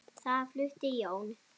Þar flutti Jón